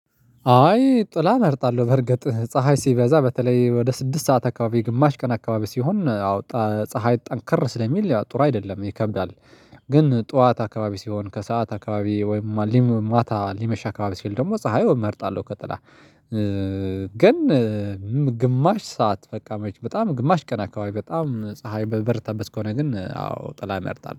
አይ ጥላ እመርጣለሁ በርግጥ ፀሀይ ሲበዛ በተለይ ወደ ስድስት ሰዓት አካባቢ ግማሽ ቀን አካባቢ ሲሆን አወጣ ፀሀይ ጠንከር ስለሚል ጥሩ አይደለም ይከብዳል። ግን ጠዋት አካባቢ ሲሆን ከሰአት አካባቢ ወይም ማታ ሊመሽ አካባቢ ሲል ደግሞ ፀሀይ እመርጣለሁ። ከጥላ። ግን ግማሽ ሰዓት። በጣም ግማሽ ቀን አካባቢ በጣም ፀሀይ በበረታበት ከሆነ ግን አዎ ጥላ እመርጣለሁ